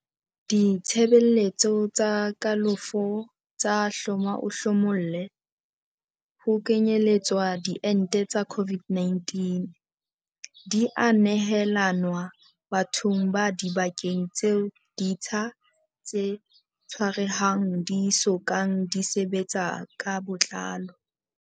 Ditshebeletso tsa kalafo tsa hloma-o-hlomolle, ho kenyeletswa diente tsa COVID-19, di a nehelanwa bathong ba dibakeng tseo ditsha tse tshwarehang di so kang di sebetsa ka botlalo.